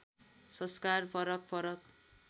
संस्कार फरक फरक